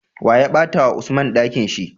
Wane ya bata wa usman Ɗakinshi?